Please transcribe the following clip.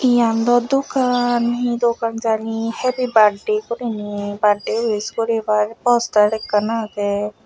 iyan daw dogan he dogan jani happy birthday guriney birthday wish goribar poster ekkan agey.